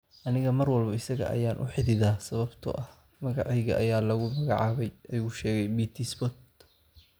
Aniga mar walba isaga ayaan u xididaa sababtoo ah magacayga ayaa lagu magacaabay, ayuu u sheegay BT Spot."